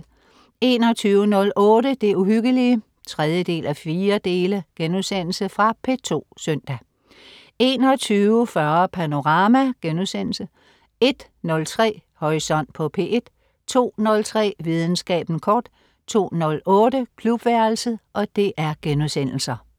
21.08 Det Uhyggelige 3:4.* Fra P2 søndag 21.40 Panorama* 01.03 Horisont på P1* 02.03 Videnskaben kort* 02.08 Klubværelset*